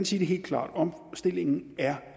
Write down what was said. sige det helt klart omstillingen er